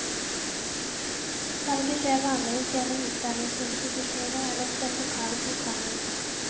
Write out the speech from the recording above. Salget skjer vanligvis gjennom utdanningsinstitusjonen eller hos den lokale bokhandel.